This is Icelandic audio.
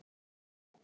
Það var eftir.